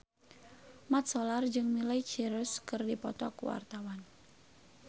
Mat Solar jeung Miley Cyrus keur dipoto ku wartawan